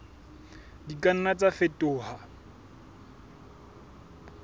di ka nna tsa fetoha